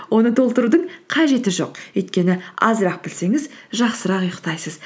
оны толтырудың қажеті жоқ өйткені азырақ білсеңіз жақсырақ ұйықтайсыз